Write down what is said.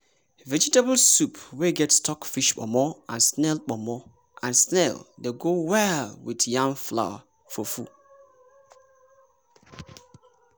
vegetable soup wey get stockfish pomo and snail pomo and snail dey go well with yam flour fufu.